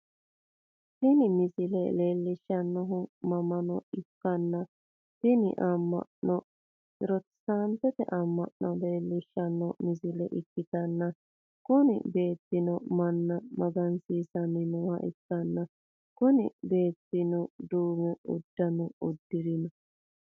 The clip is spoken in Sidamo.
Tini misile leellishshannohu amma'no ikkanna, tini amma'nono protesitaante amma'no leellishshanno misile ikkitanna, kuni beettino manna magansiissanni nooha ikkanna, kuni beettino duume uddano uddirinoho.